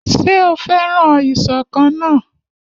Ṣé o fẹ́ràn ìṣọ̀kan náà?